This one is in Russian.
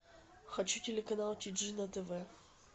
хочу телеканал тиджи на тв